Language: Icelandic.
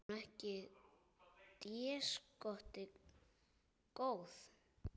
Er hún ekki déskoti góð?